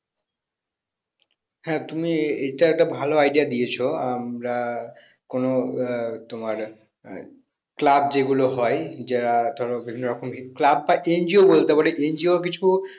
হ্যাঁ তুমি এইটা একটা ভালো idea দিয়েছো আমরা কোনো আহ তোমার আহ club যেগুলো হয় যা ধরো বিভিন্ন রকমের club বা NGO বলতে পারো NGO কিছু